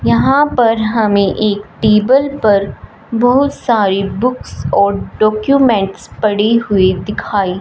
यहां पर हमें एक टेबल पर बहुत सारी बुक्स और डॉक्यूमेट्स पड़ी हुई दिखाई--